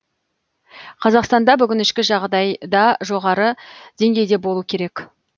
қазақстанда бүгін ішкі жағдай да жоғары деңгейде болу керек